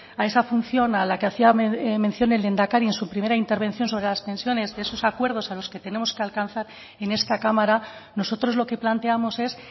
a esa función a la que hacía mención el lehendakari en su primera intervención sobre las pensiones de esos acuerdos a los que tenemos que alcanzar en esta cámara nosotros lo que planteamos es